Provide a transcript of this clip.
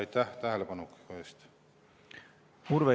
Aitäh tähelepaneku eest!